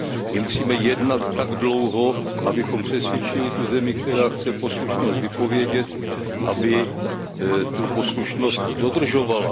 My musíme jednat tak dlouho, abychom přesvědčili zemi, která chce poslušnost vypovědět, aby tu poslušnost dodržovala.